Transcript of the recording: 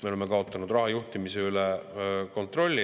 Me oleme kaotanud raha juhtimise üle kontrolli.